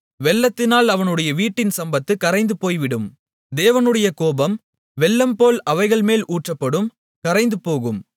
வெள்ளத்தினால் அவனுடைய வீட்டின் சம்பத்துப் கரைந்து போய்விடும் தேவனுடைய கோபம் வெள்ளம் போல் அவைகள் மேல் ஊற்றப்படும் கரைந்து போகும்